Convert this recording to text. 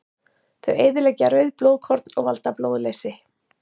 Þau eyðileggja rauð blóðkorn og valda blóðleysi.